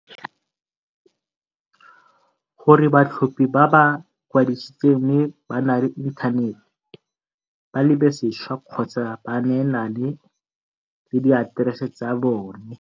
gore batlhophi ba ba ikwadisitseng mme ba na le inthanete ba lebesešwa kgotsa ba neelane ka diaterese tsa bone.